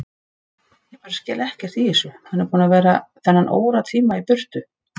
Ég skil bara ekkert í þessu, hann er búinn að vera þennan óratíma í burtu.